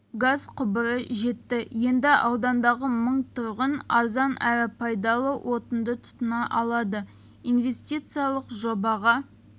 газ құбыры жетті енді аудандағы мың тұрғын арзан әрі пайдалы отынды тұтына алады инвестициялық жобаға